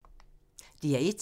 DR1